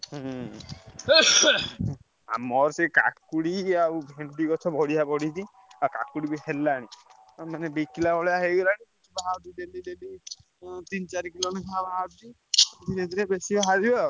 ହୁଁ ଆଉ ମୋର ସେଇ କାକୁଡି ଆଉ ଭେଣ୍ଡି ଗଛ ବଢିଆ ବଢିଛି। ଆଉ କାକୁଡି ବି ହେଲାଣି। ବିକିଲା ଭଳିଆ ହେଇଗଲାଣି ତିନ ଚାରି କିଲ ଲେଖାଁ ବାହାରୁଛି। ଧୀରେ ଧୀରେ ବେଶୀ ବାହାରିବ ଆଉ।